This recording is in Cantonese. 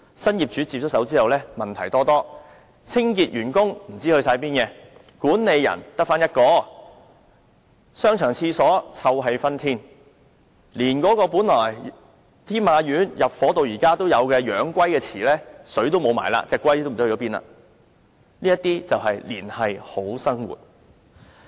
新業主接手後，商場的問題多多，清潔員工不知去向，管理員只有1人，商場廁所臭氣熏天，連天馬苑由入伙已有的養龜池亦已經乾涸，龜也不知所終——這些便是"連繫好生活"。